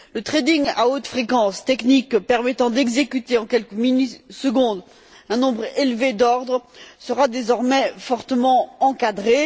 Le à haute fréquence, technique permettant d'exécuter en quelques millisecondes un nombre élevé d'ordres, sera désormais fortement encadré.